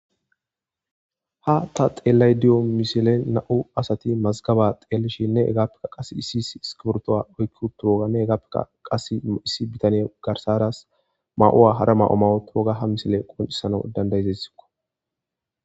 Ha ta xelayde diza misilen nam'u asat Mazigaba xelishene hegappeka Qase issi issi iskibrtuwa oyki utidoganne issi bitaney garsara may'uwa hara may'o may utoga ha misiley qoncisanaw danda'iyaysako.